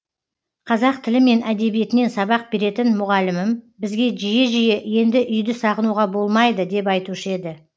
қазақ тілі мен әдебиетінен сабақ беретін мұғалімім бізге жиі жиі енді үйді сағынуға болмайды деп айтушы еді